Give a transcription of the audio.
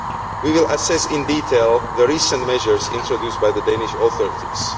We will assess in detail the recent measures introduced by the Danish authorities.